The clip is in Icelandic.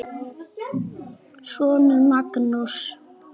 Þinn sonur Magnús.